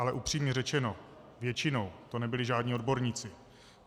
Ale upřímně řečeno, většinou to nebyli žádní odborníci.